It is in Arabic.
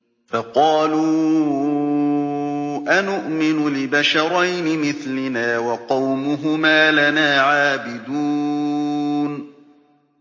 فَقَالُوا أَنُؤْمِنُ لِبَشَرَيْنِ مِثْلِنَا وَقَوْمُهُمَا لَنَا عَابِدُونَ